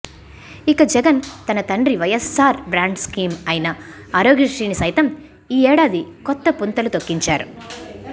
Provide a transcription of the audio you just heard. ఇక జగన్ తన తండ్రి వైఎస్సార్ బ్రాండ్ స్కీమ్ అయిన ఆరోగ్యశ్రీని సైతం ఈ ఏడాది కొత్తపుంతలు తొక్కించారు